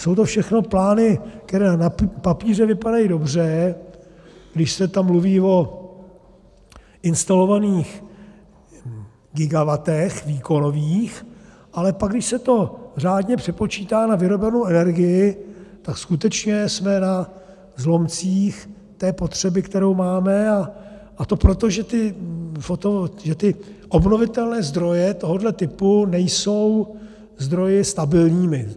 Jsou to všechno plány, které na papíře vypadají dobře, když se tam mluví o instalovaných gigawattech výkonových, ale pak, když se to řádně přepočítá na vyrobenou energii, tak skutečně jsme na zlomcích té potřeby, kterou máme, a to proto, že ty obnovitelné zdroje tohoto typu nejsou zdroji stabilními.